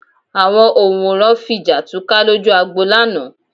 Àwọn òǹwòran fi jà túká lójú agbo lánàá